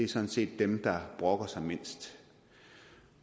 sådan set er dem der brokker sig mindst